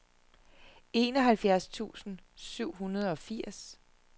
enoghalvfjerds tusind syv hundrede og firs